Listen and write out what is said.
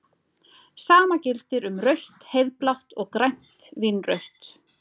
Sama gildir um rautt-heiðblátt og grænt-vínrautt.